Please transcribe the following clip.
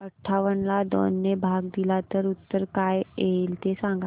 अठावन्न ला दोन ने भाग दिला तर उत्तर काय येईल ते सांगा